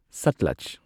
Sutlej